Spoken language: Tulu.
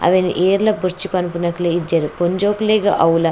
ಅವೆನ್ ಏರ್ಲ ಬೊರ್ಚಿ ಪನ್ಪುನಕ್ಲೆ ಇಜ್ಜೆರ್ ಪೊಂಜೋಕ್ಲೆಗ್ ಅವ್ಲ.